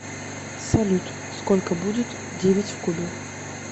салют сколько будет девять в кубе